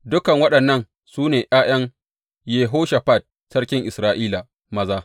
Dukan waɗannan su ne ’ya’yan Yehoshafat sarkin Isra’ila maza.